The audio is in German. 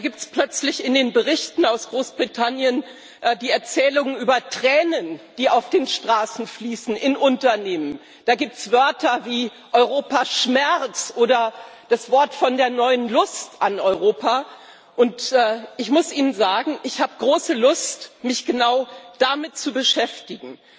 Da gibt es plötzlich in den Berichten aus Großbritannien die Erzählungen über Tränen, die auf den Straßen, in Unternehmen fließen. Da gibt es Wörter wie Europaschmerz oder das Wort von der neuen Lust an Europa, und ich muss Ihnen sagen Ich habe große Lust, mich genau damit zu beschäftigen.